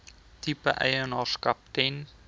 tipe eienaarskap ten